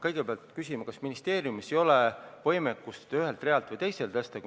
Kõigepealt küsime, kas ministeeriumis ei ole võimekust summasid ühelt realt teisele tõsta.